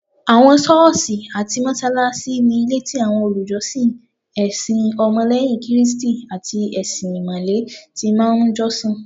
Awon soosi ati mosalasi, ni ilé ti awọn olùjọsìn ẹsìn ọmọ leyin kristi ati ẹṣin imale ti máa n josin